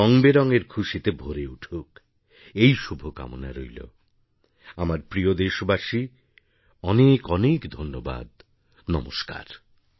রঙবেরঙের খুশিতে ভরে উঠুক এই শুভকামনা রইল আমার প্রিয় দেশবাসী অনেক অনেক ধন্যবাদ নমস্কার